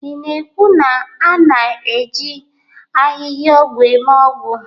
Ị na-ekwu na a na-eji ahịhịaọgwụ eme ọgwụ?